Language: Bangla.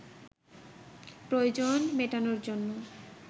প্রয়োজন মেটানোর জন্য